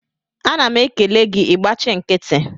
Ana m ekele gị, ị gbachị nkịtị